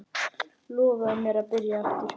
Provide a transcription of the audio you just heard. Lofaðu mér að byrja aftur!